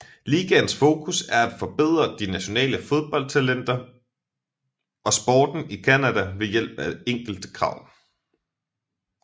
Ligaens fokus er at forbedre de nationale fodbold talentter og sporten i Canada ved hjælp af enkle krav